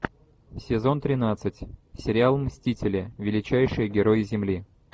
сезон тринадцать сериал мстители величайшие герои земли